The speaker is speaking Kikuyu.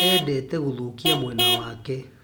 Endete gũthũkia mwena wake